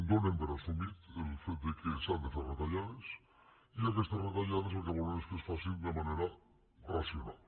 donen per assumit el fet que s’han de fer retallades i aquestes retallades el que volen és que es facin de manera racional